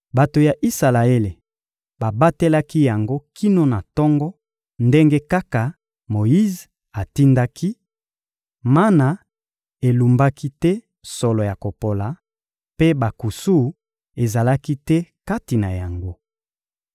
Bato ya Isalaele babatelaki yango kino na tongo, ndenge kaka Moyize atindaki; mana elumbaki te solo ya kopola, mpe bankusu ezalaki te kati na yango.